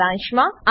સારાંશમાં